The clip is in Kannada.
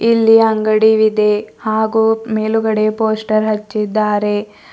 ಇಲ್ಲಿ ಅಂಗಡಿವಿದೆ ಹಾಗು ಮೇಲುಗಡೆ ಪೋಸ್ಟರ್ ಹಚ್ಚಿದ್ದಾರೆ.